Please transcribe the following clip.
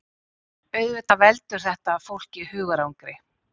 Auðvitað veldur þetta fólki hugarangri